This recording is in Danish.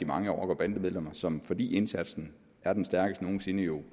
mange rocker bande medlemmer som fordi indsatsen er den stærkeste nogen sinde jo